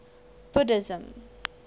buddhism